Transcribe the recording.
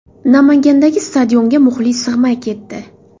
Namangandagi stadionga muxlis sig‘may ketdi.